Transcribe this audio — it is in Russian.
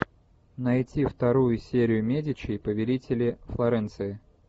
найти вторую серию медичи повелители флоренции